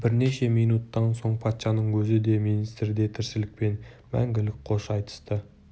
бірнеше минуттан соң патшаның өзі де министрі де тіршілікпен мәңгілік қош айтысты